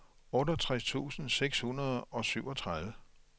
otteogtres tusind seks hundrede og syvogtredive